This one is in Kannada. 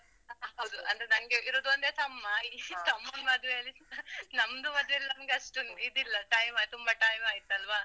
ಹೌದ್ ಹೌದು. ಅಂದ್ರೆ ನಂಗೆ ಇರುದ್ ಒಂದೇ ತಮ್ಮ. ತಮ್ಮನ್ ಮದ್ವೇಲಿ, ನಮ್ದು ಮದ್ವೇಲಿ ಅಷ್ಟೊಂದ್ ಇದಿಲ್ಲ time ತುಂಬಾ time ಆಯ್ತ್ ಅಲಾ.